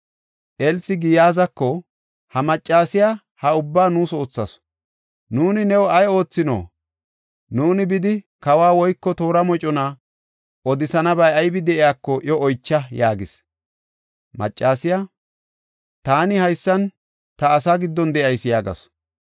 Elsi Giyaazako, “Ha maccasiya ha ubbaa nuus oothasu. Nuuni new ay oothino? Nuuni bidi, kawa woyko toora mocona odisanabay aybi de7iyako iyo oycha” yaagis. Maccasiya, “Taani haysan ta asaa giddon de7ayis” yaagasu.